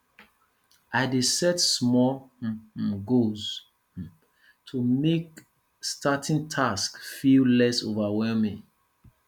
i dey set small um um goals um to make starting tasks feel less overwhelming